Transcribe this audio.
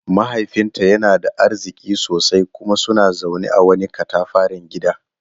Mahaifinta yana da arziki sosai kuma suna zaune a wani katafaren gida.